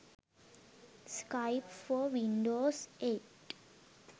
skype for windows 8